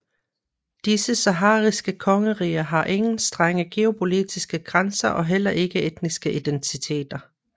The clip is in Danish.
Disse sahariske kongeriger havde ingen strenge geopolitiske grænser og heller ikke etniske identiter